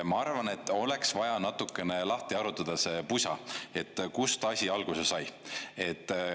Ma arvan, et oleks vaja natukene lahti arutada see pusa, kust asi alguse sai.